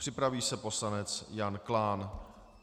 Připraví se poslanec Jan Klán.